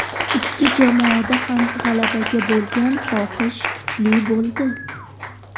Ikki jamoada ham g‘alabaga bo‘lgan xohish kuchli bo‘ldi.